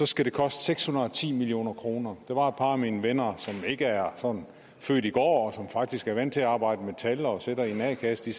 skal koste seks hundrede og ti million kroner der var et par af mine venner som ikke er sådan født i går og som faktisk er vant til at arbejde med tal og sidder i en a kasse